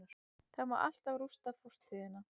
Það má alltaf rústa fortíðina-